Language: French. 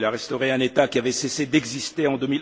Il a restauré un État qui avait cessé d'exister en